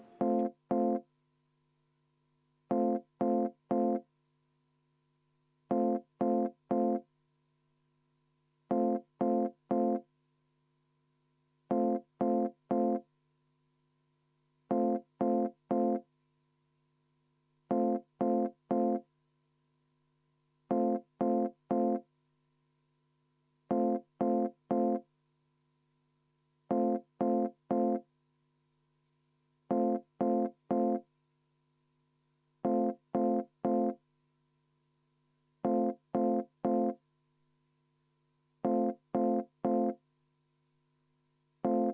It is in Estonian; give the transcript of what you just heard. Enne hääletuse juurde minekut on Tarmo Kruusimäel protseduuriline küsimus.